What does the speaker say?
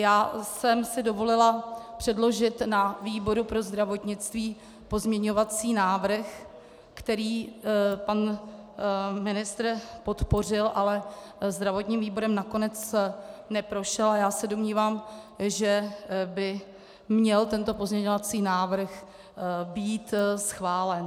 Já jsem si dovolila předložit na výboru pro zdravotnictví pozměňovací návrh, který pan ministr podpořil, ale zdravotním výborem nakonec neprošel, a já se domnívám, že by měl tento pozměňovací návrh být schválen.